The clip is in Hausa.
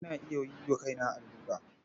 Ina iya yi wa kaina allura.